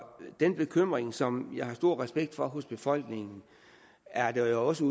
den bekymring som jeg har stor respekt for hos befolkningen er der jo også